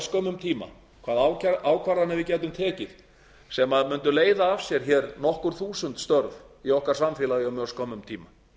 örskömmum tíma hvaða ákvarðanir við gætum tekið sem mundu leiða af sér nokkur þúsund störf í okkar samfélagi á mjög skömmum tíma